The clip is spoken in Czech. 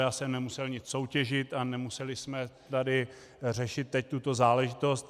Já jsem nemusel nic soutěžit a nemuseli jsme tady řešit teď tuto záležitost.